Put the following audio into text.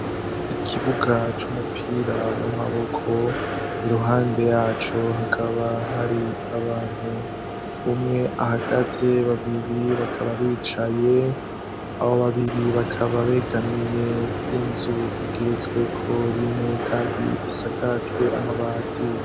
Ikibuga c'umupira w'amaboko, iruhande yaco hakaba hari abantu. Umwe ahagaze, babiri bakaba bicaye. Abo babiri bakaba begamiye inzu igeretsweko rimwe kandi isakajwe amabati.